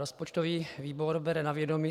Rozpočtový výbor bere na vědomí